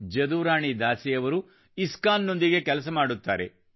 ಜದುರಾಣಿ ದಾಸಿ ಅವರು ಇಸ್ಕಾನ್ ನೊಂದಿಗೆ ಕೆಲಸ ಮಾಡುತ್ತಾರೆ